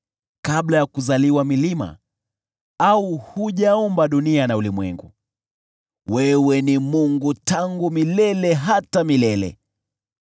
Kabla ya kuzaliwa milima au hujaumba dunia na ulimwengu, wewe ni Mungu tangu milele hata milele.